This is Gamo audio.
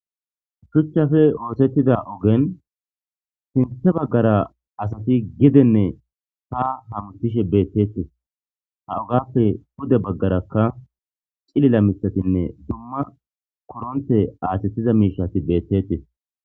shuchchafe oosettida ogen sinthe baggara asati gedenne ha hamtishe beettettes ha ogappe pude baggarakka cilila mitatinne dumma koronte aasettiza miishati beettettes